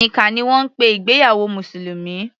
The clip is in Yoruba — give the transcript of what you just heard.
Nikkah ni wọ́n ń pe ìgbéyàwó mùsùlùmí.